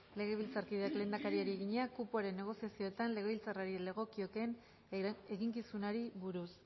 legebiltzarkideak lehendakariari egina kupoaren negoziazioetan legebiltzarrari legokiokeen eginkizunari buruz